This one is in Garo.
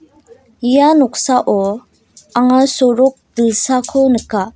ia noksao anga sorok dilsako nika.